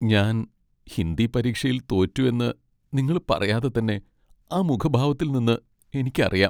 ഞാൻ ഹിന്ദി പരീക്ഷയിൽ തോറ്റു എന്ന് നിങ്ങൾ പറയാതെ തന്നെ ആ മുഖഭാവത്തിൽ നിന്ന് എനിക്ക് അറിയാം.